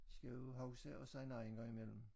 Skal jo huske at sige nej engang imellem